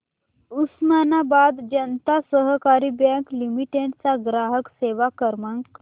Osmanabad Janata Sahakari bank limited चा ग्राहक सेवा क्रमांक